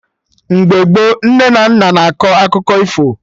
Mgbe gboo, nne na nna na akọ akụkọ ifo